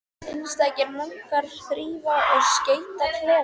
Einstakir munkar þrífa og skreyta klefa sína.